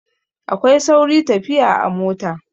Akwai sauri tafiya a mota.